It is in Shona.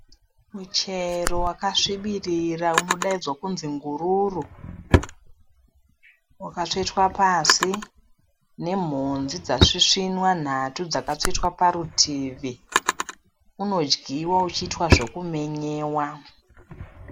Muchero wakasvibirira unodaidzwa kunzi ngururu. Wakatsvetwa pasi nemhodzi dzasvisvinwa nhatu dzakatsvetwa parutivi, unodyiwa uchiitwa zvekumenyewa.